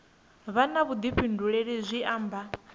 vha na vhuḓifhinduleli zwi amba